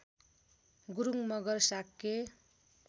Gurung Magar Shakya